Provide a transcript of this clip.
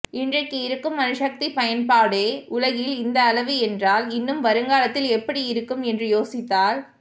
இன்றைக்கு இருக்கும் அணுசக்திப் பயன்பாடே உலகில் இந்த அளவு என்றால் இன்னும் வருங்காலத்தில் எப்படி இருக்கும் என்று யோசித்தால்